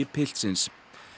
piltsins